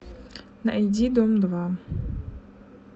найди дом два